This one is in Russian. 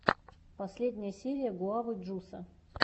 последняя серия гуавы джуса